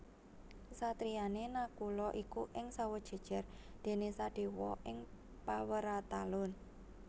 Kasatriyane Nakula iku ing Sawojajar dene Sadewa ing Paweratalun